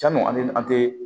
Janni olu an tɛ